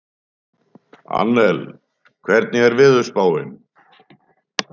Annel, hvernig er veðurspáin?